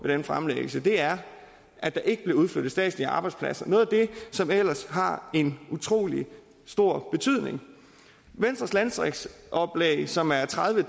den fremlæggelse er at der ikke bliver udflyttet statslige arbejdspladser noget af det som ellers har en utrolig stor betydning i venstres landdistriktsoplæg som er tredive